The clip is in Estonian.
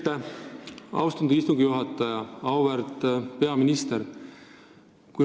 Aitäh, austatud istungi juhataja!